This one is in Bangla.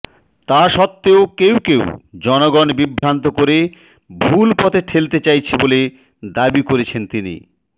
তা সত্ত্বেও কেউ কেউ জনগণ বিভ্রান্ত করে ভুল পথে ঠেলতে চাইছে বলে দাবি করেছেন তিনি